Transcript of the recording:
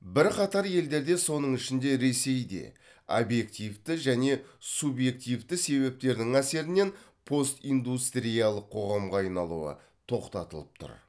бірқатар елдерде соның ішінде ресейде объективті және субъективті себептердің әсерінен постиндустриялық қоғамға айналуы тоқтатылып тұр